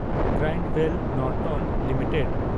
Grindwell Norton limited